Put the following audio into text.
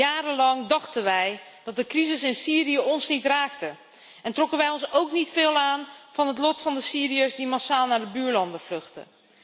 Jarenlang dachten wij dat de crisis in Syrië ons niet raakte en trokken wij ons ook niet veel aan van het lot van de Syriërs die massaal naar de buurlanden vluchtten.